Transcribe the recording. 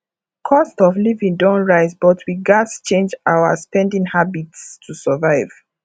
cost of living don rise but we gats change our spending habits to survive